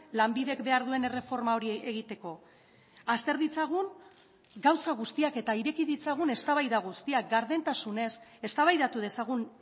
lanbidek behar duen erreforma hori egiteko azter ditzagun gauza guztiak eta ireki ditzagun eztabaida guztiak gardentasunez eztabaidatu dezagun